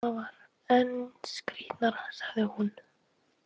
Það var enn skrítnara, sagði hún.